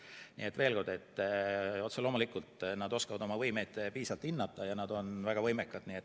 Nii et veel kord: otse loomulikult nad oskavad oma võimeid piisavalt hinnata ja nad on väga võimekad.